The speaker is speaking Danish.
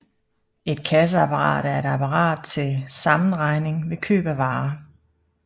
Et kasseapparat er et apparat til sammenregning ved køb af varer